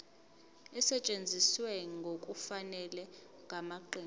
esetshenziswe ngokungafanele ngamaqembu